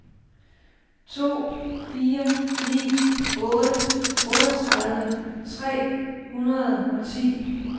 to fire ni otte otteogtredive tre hundrede og ti